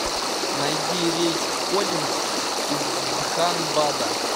найди рейс в кодинск из дханбада